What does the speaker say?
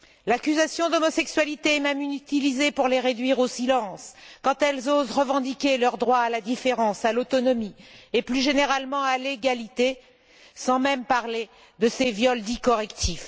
L'accusation d'homosexualité est même utilisée pour les réduire au silence quand elles osent revendiquer leurs droits à la différence, à l'autonomie et, plus généralement, à l'égalité, sans même parler des viols dits correctifs.